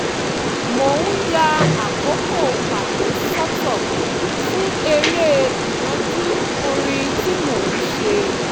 mò ń ya àkókò pàtó sọ́tọ̀ fún eré ìnàjú orin tí mò ń ṣe